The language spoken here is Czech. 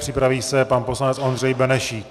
Připraví se pan poslanec Ondřej Benešík.